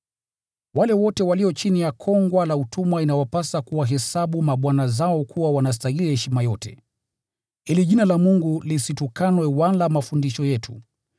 Wale wote walio chini ya kongwa la utumwa inawapasa kuwahesabu mabwana zao kuwa wanastahili heshima yote, ili jina la Mungu lisitukanwe wala mafundisho yetu.